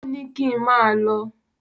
Ò ní kín máà lọ.